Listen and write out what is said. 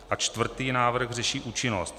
A čtvrtý návrh řeší účinnost.